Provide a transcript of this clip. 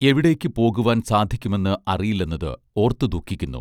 എവിടേക്ക് പോകുവാൻ സാധിക്കുമെന്ന് അറിയില്ലെന്നത് ഓർത്ത് ദുഃഖിക്കുന്നു